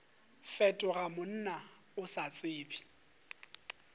fetoga monna o sa tsebe